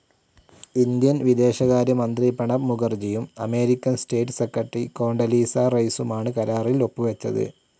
Indian വിദേശകാര്യമന്ത്രി പ്രണബ് മുഖർജിയും American state secretary Condoleezza റൈസുമാണ് കരാറിൽ ഒപ്പുവെച്ചത്.